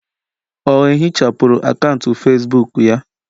Ọ ehichapụrụ akaụntụ Facebook ya